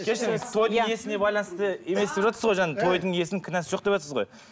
кешіріңіз тойдың иесіне байланысты емес деп жатырсыз ғой жаңағы тойдың иесінің кінәсі жоқ деватсыз ғой